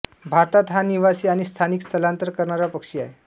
भारतात हा निवासी आणि स्थानिक स्थलांतर करणारा पक्षी आहे